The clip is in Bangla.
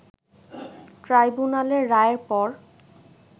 ট্রাইব্যুনালের রায়ের পর